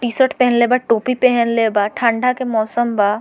T-shirt पेहेनले बा टोपी पेहेनले बा ठंडा के मौसम बा।